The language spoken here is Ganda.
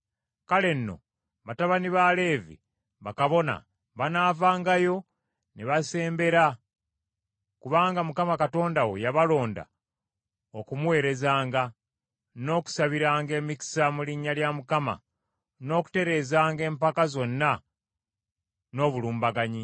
Kale nno batabani ba Leevi, bakabona, banaavangayo ne basembera, kubanga Mukama Katonda wo yabalonda okumuweerezanga, n’okusabiranga emikisa mu linnya lya Mukama n’okutereezanga empaka zonna n’obulumbaganyi.